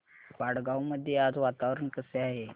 वडगाव मध्ये आज वातावरण कसे आहे